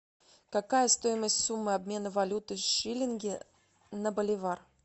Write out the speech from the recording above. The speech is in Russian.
какая стоимость суммы обмена валюты шиллинги на боливар